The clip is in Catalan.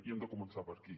i hem de començar per aquí